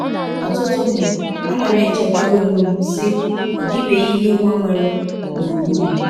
Ọtụtụ mgbe, anam echetara ọnwe m, sị, ‘ Ọ dịbeghị ihe gbanwere gbụrụgbụrụ m.